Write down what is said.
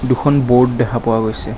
দুখন ব'ৰ্ড দেখা পোৱা গৈছে।